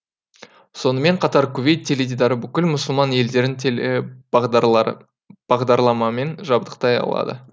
сонымен қатар кувейт теледидары бүкіл мұсылман елдерін телебағдарламамен жабдықтай алады